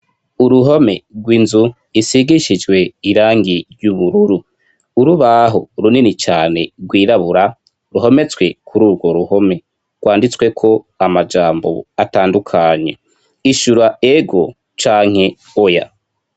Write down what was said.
Uruhome rwinzu isigishijwe irangi ry'ubururu, urubaho runini cane rwirabura ruhometswe kururwo ruhome rwanditsweko amajambo atandukanye ishura ego canke oya.